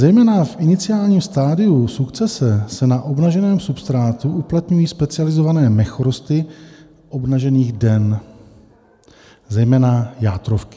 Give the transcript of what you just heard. Zejména v iniciálním stadiu sukcese se na obnaženém substrátu uplatňují specializované mechorosty obnažených den, zejména játrovky.